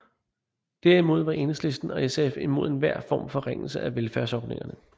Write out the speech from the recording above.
Derimod var Enhedslisten og SF imod enhver form for forringelse af velfærdsordningerne